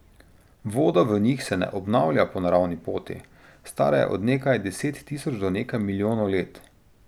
Voda v njih se ne obnavlja po naravni poti, stara je od nekaj deset tisoč do nekaj milijonov let.